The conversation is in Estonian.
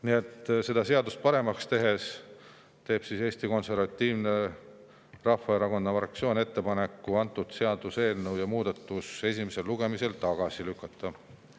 Nii et selleks, et seda seadust paremaks teha, teeb Eesti Konservatiivse Rahvaerakonna fraktsioon ettepaneku seaduseelnõu ja muudatus esimesel lugemisel tagasi lükata.